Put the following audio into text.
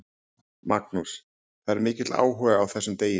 Magnús: Það er mikill áhugi á þessum degi?